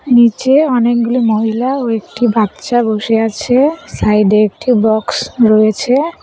নিচে অনেকগুলি মহিলা ও একটি বাচ্চা বসে আছে সাইডে একটি বক্স রয়েছে।